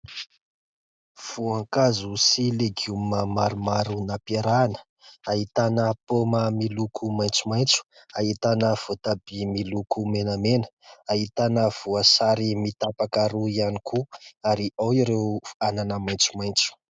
Voankazo sy legioma maromaro nampiarahana, ahitana paoma miloko maitsomaitso, ahitana voatabia miloko menamena, ahitana voasary mitapaka roa ihany koa ary ao ireo anana maitsomaitso.